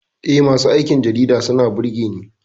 Eh, masu aikin jarida suna burge Ni.